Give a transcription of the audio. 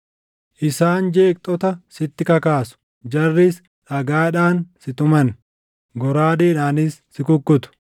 Isaan jeeqxota sitti kakaasu; jarris dhagaadhaan si tuman; goraadeedhaanis si kukkutu.